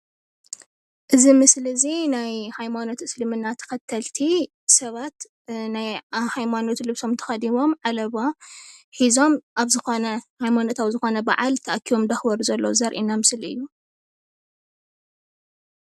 እዚ ምስሊ እዚ ናይ ሃይማኖት እስልምና ተኸተልቲ ሰባት ናይ ሃይማኖት ልብሶም ተኸዲኖም ዓለባ ሒዞም ኣብ ዝኾነ ሃይማኖታዊ በዓል ተኣኪቦም እናኽበሩ ዘርእየና ምስሊ እዪ።